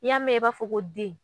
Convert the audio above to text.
N'i y'a mɛn i b'a fɔ ko den